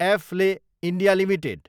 एफले India Ltd